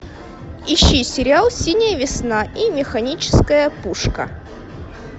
ищи сериал синяя весна и механическая пушка